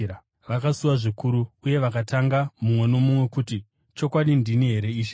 Vakasuwa zvikuru uye vakatanga, mumwe nomumwe kuti, “Chokwadi, ndini here, Ishe?”